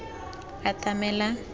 atamelang